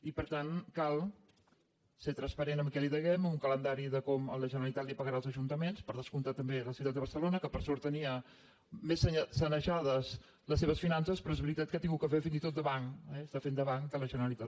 i per tant cal ser trans·parent amb el que devem amb un calendari de com la generalitat pagarà als ajuntaments per descomptat també a la ciutat de barcelona que per sort tenia més sanejades les seves finances però és veritat que ha ha·gut de fer fins i tot de banc eh està fent de banc de la generalitat